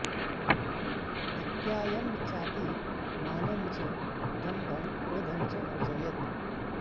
अत्यायं चाति मानं च दम्भं क्रोधं च वर्जयेत्